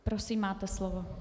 Prosím, máte slovo .